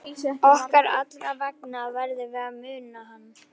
Okkar allra vegna verðum við að muna hann.